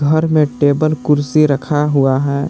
घर में टेबल कुर्सी रखा हुआ है।